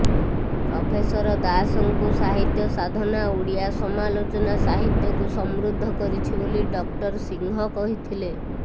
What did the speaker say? professor ଦାସଙ୍କୁ ସାହିତ୍ୟ ସାଧନା ଓଡ଼ିଆ ସମାଲୋଚନା ସାହିତ୍ୟକୁ ସମୃଦ୍ଧ କରିଛି ବୋଲି ଡକ୍ଟର ସିଂହ କହିଥିଲେ